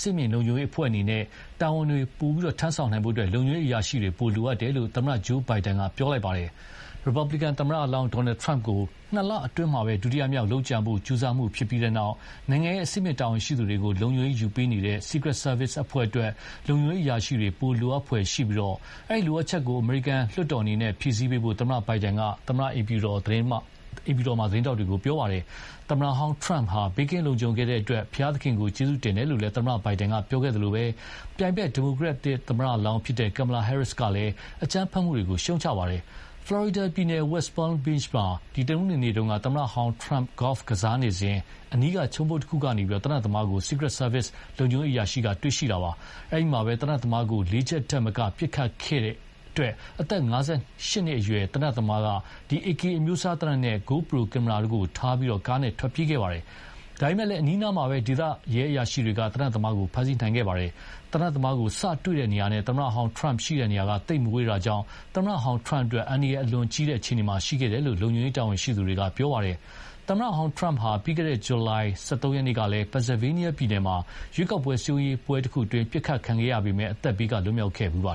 င့်မြင့်လုံခြုံရေးအဖွဲ့အနေနဲ့ တာဝန်တွေ ထမ်းဆောင်ဖို့ လုံခြုံရေးအရာရှိတွေ ပို လိုအပ်နေတယ်လို့ သမ္မတ Joe Biden က ပြောပါတယ်။ ရီပတ်ဘလီကန်သမ္မတလောင်း Donald Trump ကို နှစ်လအတွင်းမှာပဲ ဒုတိယမြောက် လုပ်ကြံဖို့ကြိုးစားမှုဖြစ်ပြီးတဲ့နောက် နိုင်ငံရဲ့အဆင့်မြင့် တာဝန်ရှိသူတွေကို လုံခြုံရေးယူပေးနေတဲ့ Secrete Service အဖွဲ့အတွက် လုံခြုံရေးအရာရှိတွေ ပိုလိုအပ်ဖွယ်ရှိပြီး ဒီလိုအပ်ချက်ကို အမေရိကန်လွှတ်တော်က ဖြည့်ဆည်းပေးဖို့ သမ္မတ Biden က သမ္မတအိမ်ဖြူတော်မှာ သတင်းထောက်တွေကို ပြောခဲ့ပါတယ်။ သမ္မတဟောင်း Trump ဘေးကင်းလုံခြုံခဲ့တဲ့အတွက် ဘုရားသခင်ကိုကျေးဇူးတင်တယ်လို့ သမ္မတဘိုင်ဒန်ကပြောခဲ့သလို ပြိုင်ဖက် ဒီမိုကရက်တစ်သမ္မတလောင်း Kamala Harris ကလည်းအကြမ်းဖက်မှုတွေကို ရှုတ်ချခဲ့ပါတယ်။ ဖလော်ရီဒါပြည်နယ် West Palm Beach မှာ တနင်္ဂနွေနေ့က သမ္မတဟောင်း Trump ဂေါ့ဖ်ကစားနေစဉ် အနီးက ခြုံပုတ်တခုကနေ သေနတ်သမားကို Secrete Serve လုံခြုံရေးအရာရှိက တွေ့ရှိခဲ့တာပါ။ အဲဒီမှာပဲ သေနတ်သမားကို လေးချက်ထက်မကပစ်ခတ်ခဲ့ပြီး အသက် ၅၈ နှစ်အရွယ်သေနတ်သမားက AK အမျိုးအစား သေနတ် GoPro ကင်မရာတို့ကိုထားပြီး ကားနဲ့ထွက်ပြေးခဲ့ပါတယ်။ ဒါပေမယ့် အနီးအနားမှာပဲ ဒေသရဲအရာရှိတွေက သေနတ်သမားကို ဖမ်းဆီးနိုင်ခဲ့ပါတယ်။ သေနတ်သမားကို စတွေ့တဲ့နေရာနဲ့ သမ္မတဟောင်း Trump ရှိတဲ့နေရာက သိပ်မဝေးတာကြောင့် သမ္မတဟောင်း Trump အတွက် အန္တရာယ်အလွန်ကြီးတဲ့အခြေအနေမှာ ရှိခဲ့တယ်လို့ လုံခြုံရေးတာဝန်ရှိသူတွေက ပြောပါတယ်။ သမ္မတဟောင်း Trump ဟာ ပြီးခဲ့တဲ့ဇူလိုင်လ ၁၃ ရက်နေ့ကလည်း Pennsylvania ပြည်နယ်မှာ ရွေးကောက်ပွဲစည်းရုံးရေးပွဲတခုအတွင်း ပစ်ခတ်ခံခဲ့ရပေမယ့် အသက်ဘေးက လွတ်မြောက်ခဲ့ဖူးပါ